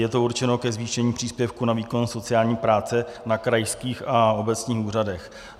Je to určeno ke zvýšení příspěvku na výkon sociální práce na krajských a obecních úřadech.